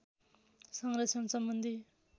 संरक्षण सम्बन्धी